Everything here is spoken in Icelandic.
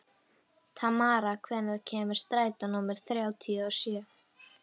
Tamara, hvenær kemur strætó númer þrjátíu og sjö?